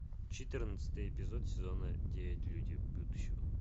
четырнадцатый эпизод сезона девять люди будущего